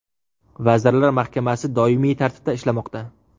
Vazirlar Mahkamasi doimiy tartibda ishlamoqda .